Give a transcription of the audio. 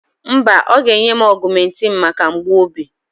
Mba, ọ ga-enye m augmentin maka mgbu obi.